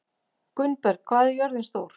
Gunnberg, hvað er jörðin stór?